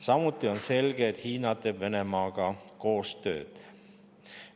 Samuti on selge, et Hiina teeb Venemaaga koostööd.